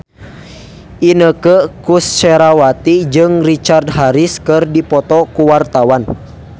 Inneke Koesherawati jeung Richard Harris keur dipoto ku wartawan